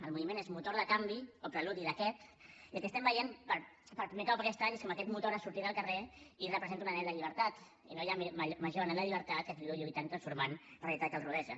el moviment és motor de canvi o preludi d’aquest i el que veiem per primer cop aquest any és com aquest motor ha sortit al carrer i representa un anhel de llibertat i no hi ha major anhel de llibertat que qui viu lluitant transformant la realitat que el rodeja